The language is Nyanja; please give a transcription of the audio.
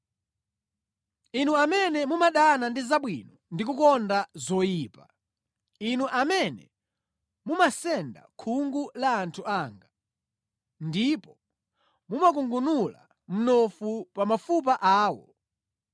inu amene mumadana ndi zabwino ndi kukonda zoyipa; inu amene mumasenda khungu la anthu anga, ndipo mumakungunula mnofu pa mafupa awo;